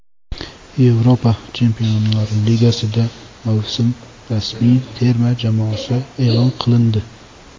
Yevropa Chempionlar Ligasida mavsum ramziy terma jamoasi e’lon qilindi.